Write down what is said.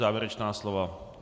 Závěrečná slova?